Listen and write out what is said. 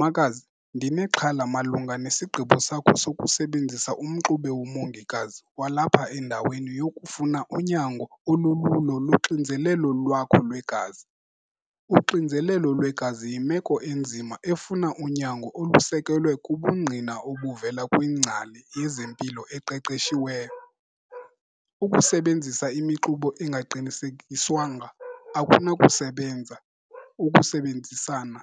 Makazi, ndinexhala malunga nesigqibo sakho sokusebenzisa umxube womongikazi walapha, endaweni yokufuna unyango olululo loxinzelelo lwakho lwegazi. Uxinzelelo lwegazi yimeko enzima efuna unyango olusekelwe kubungqina obuvela kwingcali yezempilo eqeqeshiweyo. Ukusebenzisa imixubo ingaqinisekiswanga akunakusebenza ukusebenzisana